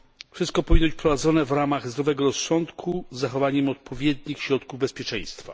Wszystko powinno być prowadzone w ramach zdrowego rozsądku i z zachowaniem odpowiednich środków bezpieczeństwa.